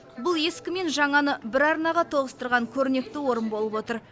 бұл ескі мен жаңаны бір арнаға тоғыстырған көрнекті орын болып отыр